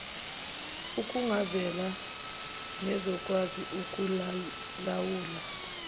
okungavela nezokwazi ukukulawula